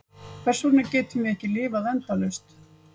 Hvers vegna getum við ekki lifað endalaust?